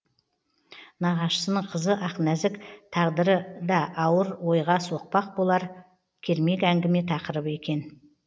нағашысының қызы ақнәзік тағдыры да ауыр ойға соқпақ болар кермек әңгіме тақырыбы екен